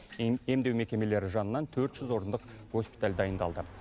емдеу мекемелері жанынан төрт жүз орындық госпиталь дайындалды